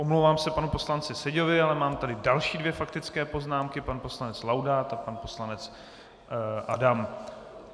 Omlouvám se panu poslanci Seďovi, ale mám tady další dvě faktické poznámky - pan poslanec Laudát a pan poslanec Adam.